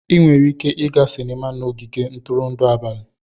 Ị nwere ike ịga sinima na ogige ntụrụndụ n'abalị.